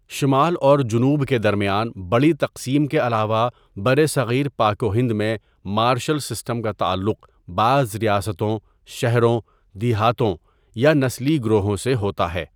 شمال اور جنوب کے درمیان بڑی تقسیم کے علاوہ برصغیر پاک و ہند میں مارشل سسٹم کا تعلق بعض ریاستوں، شہروں، دیہاتوں یا نسلی گروہوں سے ہوتا ہے۔